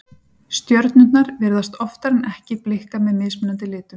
stjörnurnar virðast oftar en ekki blikka með mismunandi litum